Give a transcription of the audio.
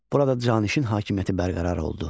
Burada canişin hakimiyyəti bərqərar oldu.